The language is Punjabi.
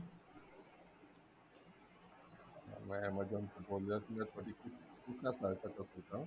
ਮੈਂ amazon ਤੋਂ ਬੋਲ ਰਿਹਾ ਸੀਗਾ ਤੁਹਾਡੀ ਕਿ ਕਿਸ ਤਰ੍ਹਾਂ ਸਹਾਇਤਾ ਕਰ ਸਕਦਾ